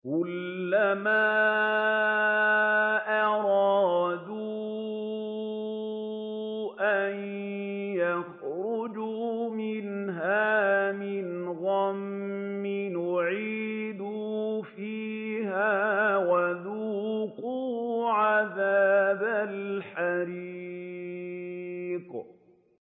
كُلَّمَا أَرَادُوا أَن يَخْرُجُوا مِنْهَا مِنْ غَمٍّ أُعِيدُوا فِيهَا وَذُوقُوا عَذَابَ الْحَرِيقِ